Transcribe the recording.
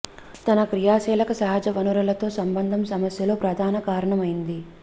తన క్రియాశీలక సహజ వనరులతో సంబంధం సమస్యలు ప్రధాన కారణం అయింది